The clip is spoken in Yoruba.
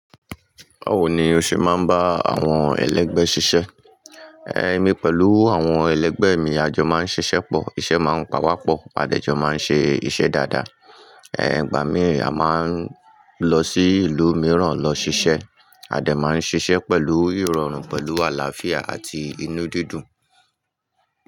Báwo ni o ṣe máa ń bá àwọn ẹlẹgbẹ́ ṣiṣẹ́? Ẹ̀mi pẹ̀lú àwọn ẹlẹgbẹ́ mi, àjọ máa ń ṣiṣẹ́ pọ̀, iṣẹ́ máa ń pawapọ, adẹjọ́ máa ń ṣe iṣẹ́ dáadáa. Ìgbà mìí a máa ń lọ sí ìlú mìíràn lọ ṣiṣẹ́. A dẹ̀ máa ń ṣiṣẹ́ pẹ̀lú ìrọ̀rùn, pẹ̀lú àlàáfíà àti inú dídùn.